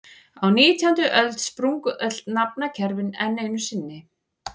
Á nítjándu öld sprungu öll nafnakerfi enn einu sinni.